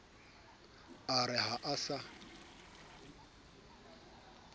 a re ha a sa